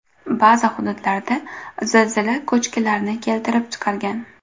Ba’zi hududlarda zilzila ko‘chkilarni keltirib chiqargan.